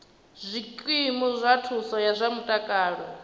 zwikimu zwa thuso ya zwa mutakalo